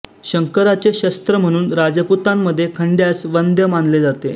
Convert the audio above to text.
शंकराचे शस्त्र म्हणून राजपुतांमध्ये खंड्यास वंद्य मानले जाते